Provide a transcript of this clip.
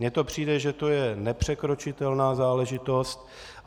Mně to přijde, že to je nepřekročitelná záležitost.